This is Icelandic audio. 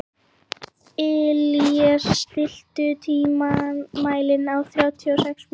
Illíes, stilltu tímamælinn á þrjátíu og sex mínútur.